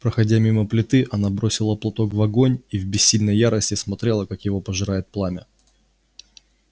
проходя мимо плиты она бросила платок в огонь и в бессильной ярости смотрела как его пожирает пламя